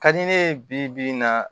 Ka di ne ye bi-bi in na